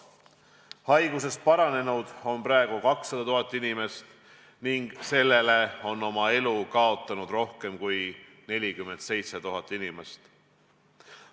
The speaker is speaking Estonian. Haigusest paranenud on 200 000 inimest ning oma elu on sellele kaotanud rohkem kui 47 000 inimest.